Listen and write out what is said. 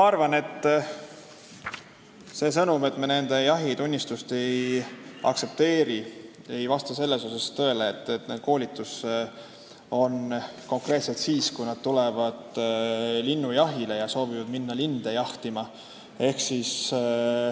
Ma arvan, et see, et me nende jahitunnistusi ei aktsepteeri, ei vasta selles mõttes tõele, et koolitus toimub konkreetselt siis, kui nad tulevad linnujahile ja soovivad minna linde jahtima.